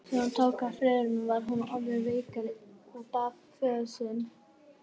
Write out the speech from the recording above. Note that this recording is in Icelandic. Þegar húma tók í firðinum var hún orðin veikari og bað um föður sinn.